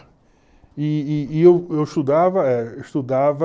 e e e eu eu estudava... Eu estudava